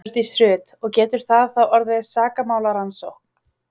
Hjördís Rut: Og getur það þá orðið sakamálarannsókn?